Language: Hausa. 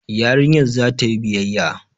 Yarinyar za ta yi biyayya